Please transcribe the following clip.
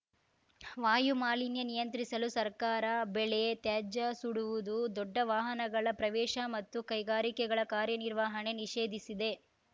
ವಾಯುಮಾಲಿನ್ಯ ನಿಯಂತ್ರಿಸಲು ಸರ್ಕಾರ ಬೆಳೆ ತ್ಯಾಜ್ಯ ಸುಡುವುದು ದೊಡ್ಡ ವಾಹನಗಳ ಪ್ರವೇಶ ಮತ್ತು ಕೈಗಾರಿಕೆಗಳ ಕಾರ್ಯನಿರ್ವಹಣೆ ನಿಷೇಧಿಸಿದೆ